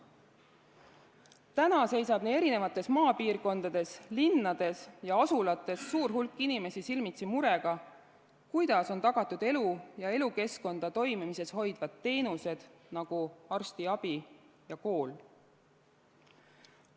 Täna on maapiirkondades, linnades ja asulates suur hulk inimesi silmitsi murega, kuidas on tagatud elu ja elukeskkonda toimimises hoidvad teenused, nagu arstiabi ja kool.